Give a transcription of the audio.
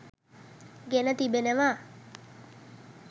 ගෙන තිබෙනවා.